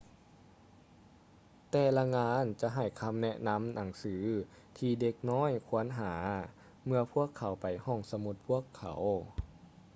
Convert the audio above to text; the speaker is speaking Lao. ແຕ່ລະງານຈະໃຫ້ຄໍາແນະນໍາໜັງສືທີ່ເດັກນ້ອຍຄວນຫາເມື່ອພວກເຂົາໄປຫ້ອງສະໝຸດພວກເຂົາ